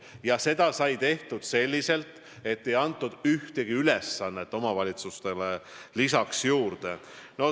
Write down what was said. Ja seda sai tehtud selliselt, et ei antud ühtegi ülesannet omavalitsustele juurde.